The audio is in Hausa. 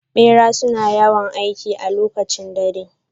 Bera suna yawan aiki a lokacib dare.